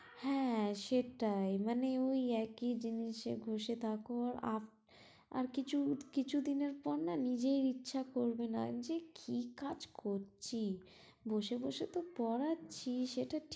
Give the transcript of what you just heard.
হ্যাঁ সেটাই মানে ওই একই জিনিসের ঘষে থাকো আপ আর কিছু কিছু দিনের পর না নিজের ইচ্ছা করবে না, আমি বলছি কি কাজ করছি বসে বসে তো পড়াচ্ছি